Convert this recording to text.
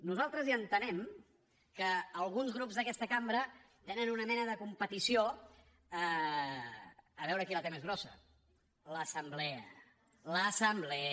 nosaltres ja entenem que alguns grups d’aquesta cambra tenen una mena de competició a veure qui la té més grossa l’assemblea l’assemblea